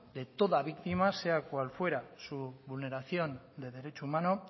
de toda víctima sea cual fuera su vulneración de derecho humano